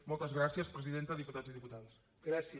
moltes gràcies presidenta diputats i diputades